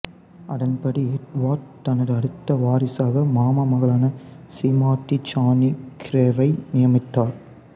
அதன்படி எட்வேர்டு தனது அடுத்த வாரிசாக மாமா மகளான சீமாட்டி ஜானி கிரேவை நியமித்தார்